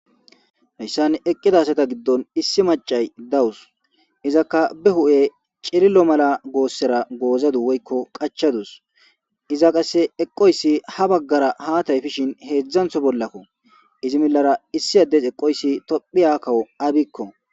heyssan eqqida asata giddon issi macay dawus, izakka be hu7e cilillo mala goossera goozadu woykko qachadus iza qasse eqoyssi ha baggara haataypishin heedzdzantho bollakko izi millara issi addes eqoyssi tophiya kawo abiyko